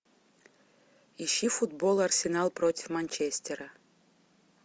ищи футбол арсенал против манчестера